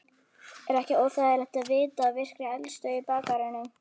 Er ekkert óþægilegt að vita af virkri eldstöð í bakgarðinum?